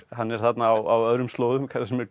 hann er þarna á öðrum slóðum